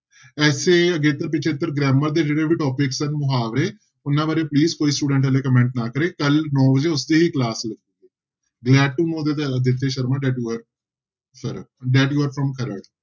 ਇੱਥੇ ਅਗੇਤਰ ਪਿੱਛੇਤਰ grammar ਦੇ ਜਿਹੜੇ ਵੀ topics ਆ ਮੁਹਾਵਰੇ ਉਹਨਾਂ ਬਾਰੇ please ਕੋਈ student ਹਾਲੇ comment ਨਾ ਕਰੇ ਕੱਲ੍ਹ ਨੋਂ ਵਜੇ ਉਸਦੀ ਹੀ class